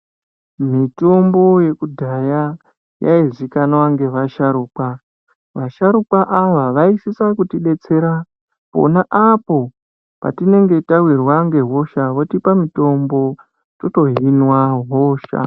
Mitombo yekudhaya yaizikanwa ngevasharukwa vasharukwa ava vaisisa kuti detsera pona apo kwatinenge tawirwa nehosha votipa mutombo totohinwa hosha.